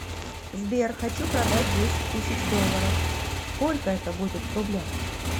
сбер хочу продать десять тысяч долларов сколько это будет в рублях